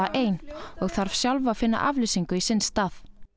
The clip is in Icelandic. ein og þarf sjálf að finna afleysingu í sinn stað